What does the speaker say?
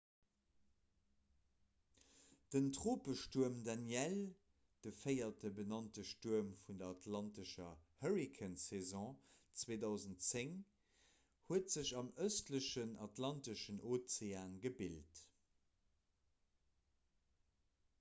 den tropestuerm danielle de véierte benannte stuerm vun der atlantescher hurrikansaison 2010 huet sech am ëstlechen atlanteschen ozean gebilt